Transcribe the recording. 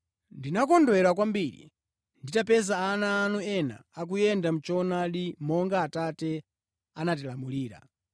Ndinakondwera kwambiri nditapeza ana anu ena akuyenda mʼchoonadi, monga Atate anatilamulira.